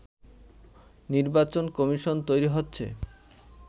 নির্বাচন কমিশন তৈরি হচ্ছে